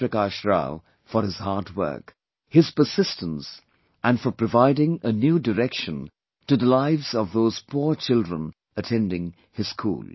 Prakash Rao for his hard work, his persistence and for providing a new direction to the lives of those poor children attending his school